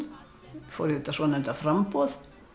fór auðvitað í svonefnda framboð